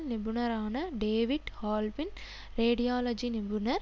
நிபுணரான David Halpin radiology நிபுணர்